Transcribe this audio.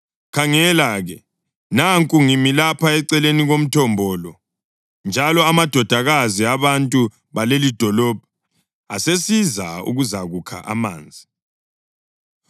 Khangela-ke, nanku ngimi lapha eceleni komthombo lo, njalo amadodakazi abantu balelidolobho asesiza ukuzakukha amanzi.